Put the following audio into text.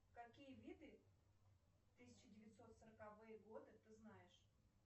какие виды тысяча девятьсот сороковые годы ты знаешь